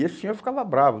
E esse senhor ficava bravo.